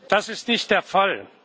Das ist nicht der Fall.